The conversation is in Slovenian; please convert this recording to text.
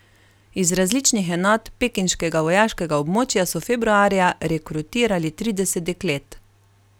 Iz različnih enot pekinškega vojaškega območja so februarja rekrutirali trideset deklet.